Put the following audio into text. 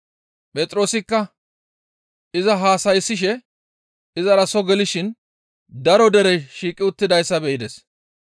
Phexroosikka iza haasayssishe izara soo gelishin daro derey shiiqi uttidayssa be7ides.